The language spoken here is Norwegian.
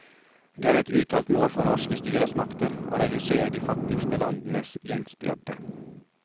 Det er et uttalt mål for norske styresmakter å redusere de fattigste landenes gjeldsbyrde.